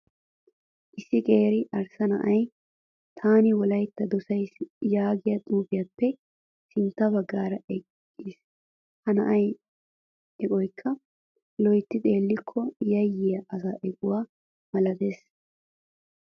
Issi qeeri arssa na'ayi taani wolayitta dosayisi yaagiyaa xuupiyaappe sintta baggaara eqqis. Ha na'aa eqoyikka loyitti xeellikko yayyiyaa asaa equwaa malates.